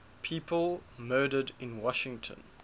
people murdered in washington